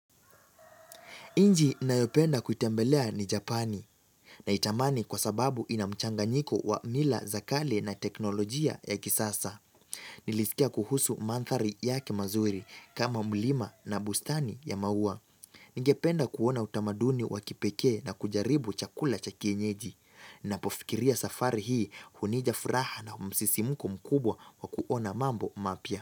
Nchi nayopenda kuitembelea ni Japani na itamani kwa sababu inamchanganyiko wa mila za kale na teknolojia ya kisasa. Nilisikia kuhusu mandhari yake mazuri kama mlima na bustani ya maua. Ningependa kuona utamaduni wakipekee na kujaribu chakula cha kienyeji. Napofikiria safari hii hunija furaha na msisimko mkubwa wa kuona mambo mapya.